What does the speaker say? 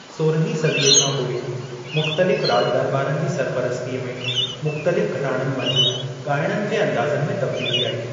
सोरहीं सदीअ खां पोइ, मुख़्तलिफ़ राॼ दरॿारनि जी सरपरस्तीअ में मुख़्तलिफ़ घराणनि मंझि ॻाइणनि जे अंदाज़नि में तब्दीली आई।